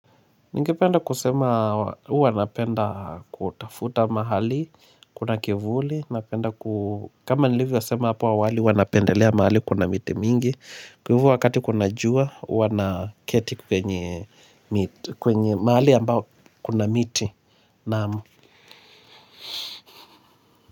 Ningependa kusema huwa napenda kutafuta mahali, kuna kivuli, napenda ku kama nilivyosema hapo awali, huwa napendelea mahali kuna miti mingi, kwa hivyo wakati kuna jua huwa naketi penye miti kwenye mahali ambapo kuna miti naam.